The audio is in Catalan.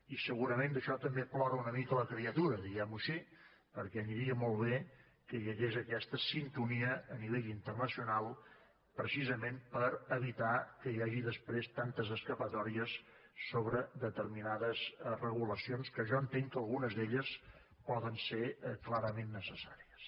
i segurament d’això també plora una mica la criatura diguem ho així perquè aniria molt bé que hi hagués aquesta sintonia a nivell internacional precisament per evitar que hi hagi després tantes escapatòries sobre determinades regulacions que jo entenc que algunes d’elles poden ser clarament necessàries